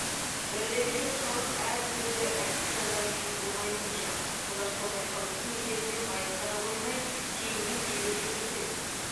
бірлігі жоқ халық әр түрлі әккі жандар үшін оңай олжа олар сондай халықтың есебінен байып қана қоймай кейіннен билік жүргізеді